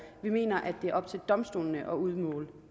vi mener at det er op til domstolene at udmåle